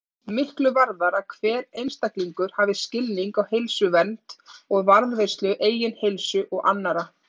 Miklu varðar að hver einstaklingur hafi skilning á heilsuvernd og varðveislu eigin heilsu og annarra.